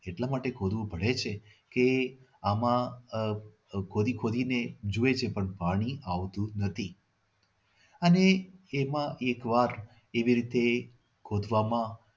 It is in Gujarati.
એટલા માટે ખોદવું પડે છે કે આમાં આહ આહ ખોદી ખોદીને જુએ છે પણ પાણી આવતું નથી અને એમાં એક વાર એવી રીતે ખોદવામાં